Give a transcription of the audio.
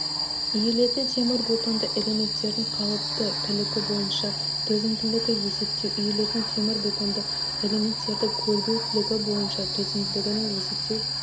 иілетін темірбетонды элементтердің қалыпты тілігі бойынша төзімділігін есептеу иілетін темірбетонды элементтердің көлбеу тілігі бойынша төзімділігін есептеу